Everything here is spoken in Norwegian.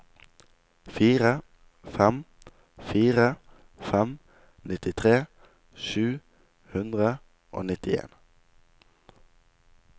fire fem fire fem nittitre sju hundre og nittien